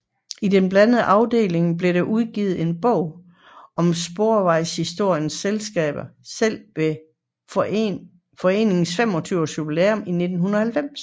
I den blandede afdeling blev der udgivet en bog om Sporvejshistorisk Selskab selv ved foreningens 25 års jubilæum i 1990